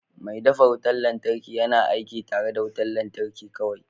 Mai dafa wutar lantarki yana aiki tare da wutar lantarki kawai